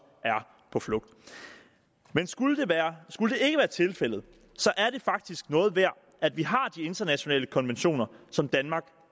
er på flugt men skulle det være tilfældet er det faktisk noget værd at vi har de internationale konventioner som danmark